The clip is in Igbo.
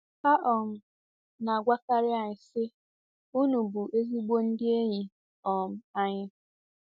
Ha um na-agwakarị anyị, sị, “Unu bụ ezigbo ndị enyi um anyị”